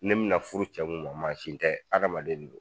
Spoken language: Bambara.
Ne be na furu cɛ min ma mansin tɛ adamaden don